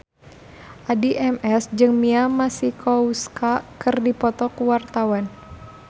Addie MS jeung Mia Masikowska keur dipoto ku wartawan